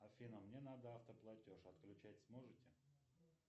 афина мне надо автоплатеж отключать сможете